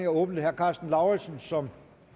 åbnet herre karsten lauritzen som